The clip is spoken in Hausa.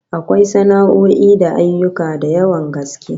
Akwai sana'o'i da ayyuka da yawan gaske